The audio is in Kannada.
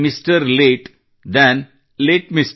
late than late M R